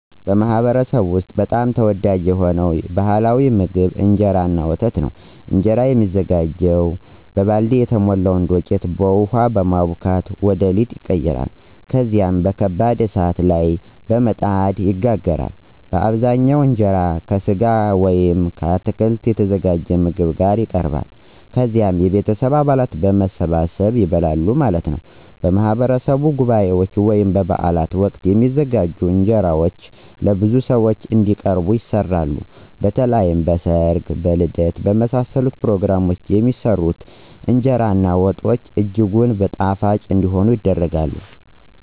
በማኅበረሰብዎ ውስጥ በጣም ተወዳጅ የሆነው ባሕላዊ ምግብ እንጀራ እና ወተት ነው። እንጀራ የተሞላ ዱቄትን በውሃ በማቡካት ወደ ሊጥ ይቀየራል። ከዚያም በከባድ እሳት ላይ በምጣድ ይጋገራል። በአብዛኛው እንጀራው ከሥጋ ወይም ከአትክልት የተዘጋጀ ምግብ ጋር ይቀርባል። ከዛ የቤተሰብ አባላት በመሰባሰብ ይበላል ማለት ነው። በማህበረሰብ በጉባኤዎች ወይም በበዓላት ወቅት የሚዘጋጁ እንጀራዎች ለብዙ ሰዎች እንዲቀርቡ ይሰራሉ። በተለይም በ ሰርግ ,በልደት እና በመሳሰሉት ፕሮግራሞች የሚሰራው የእንገራ በወጥ ምግብ እጅጉን ጣፋጭ እንዲሆን ይደረጋል።